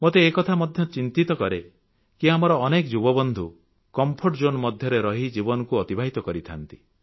ମତେ ଏ କଥା ମଧ୍ୟ ଚିନ୍ତିତ କରେ କି ଆମର ଅନେକ ଯୁବବନ୍ଧୁ କମ୍ଫର୍ଟ ଜୋନ୍ ମଧ୍ୟରେ ରହି ଜୀବନକୁ ଅତିବାହିତ କରିଥାନ୍ତି